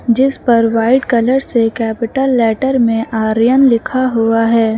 जिस पर white colour से कैपिटल लेटर में आर्यन लिखा हुआ है।